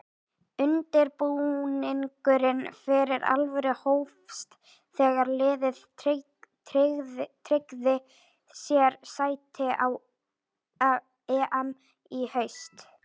Undirbúningurinn fyrir alvöru hófst þegar liðið tryggði sér sæti á EM í haust.